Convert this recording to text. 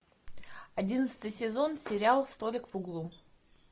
одиннадцатый сезон сериал столик в углу